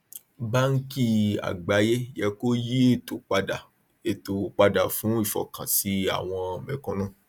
bàńkì àgbáyé yẹ kó yí ètò padà ètò padà fún ìfọkànsí àwọn mẹkúnnù